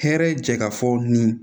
Hɛrɛ jɛ ka fɔ nin